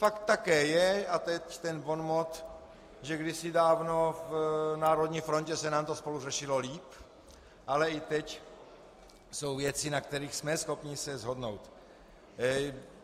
Fakt také je, a teď ten bonmot, že kdysi dávno v Národní frontě se nám to spolu řešilo líp, ale i teď jsou věci, na kterých jsme schopni se shodnout.